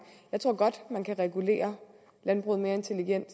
jeg tror godt at man kan regulere landbruget mere intelligent